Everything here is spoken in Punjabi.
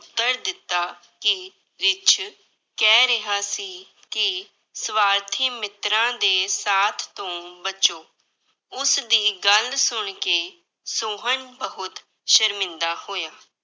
ਉੱਤਰ ਦਿੱਤਾ ਕਿ ਰਿੱਛ ਕਹਿ ਰਿਹਾ ਸੀ ਕਿ ਸਵਾਰਥੀ ਮਿੱਤਰਾਂ ਦੇ ਸਾਥ ਤੋਂ ਬਚੋ, ਉਸਦੀ ਗੱਲ ਸੁਣਕੇ ਸੋਹਨ ਬਹੁਤ ਸ਼ਰਮਿੰਦਾ ਹੋਇਆ।